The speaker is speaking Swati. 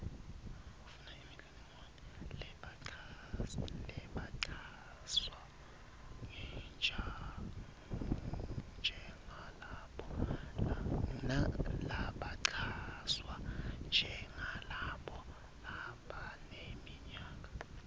labachazwa njengalabo labaneminyaka